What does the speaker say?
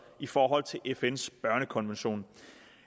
i forhold til fns børnekonvention